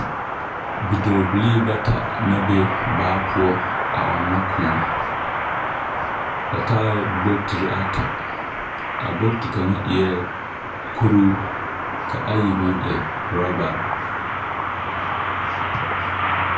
Bidͻͻbilii bata na be baa poͻ a ͻnnͻ kõͻ. Ba taaԑ bogitiri ata, a bogiti kaŋa eԑԑ kuruu, ka ayi meŋ e oorͻbare.